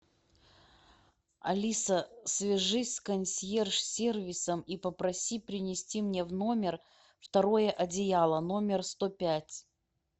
алиса свяжись с консьерж сервисом и попроси принести мне в номер второе одеяло номер сто пять